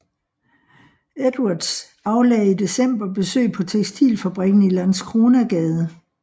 Edwards aflagde i december besøg på tekstilfabrikken i Landskronagade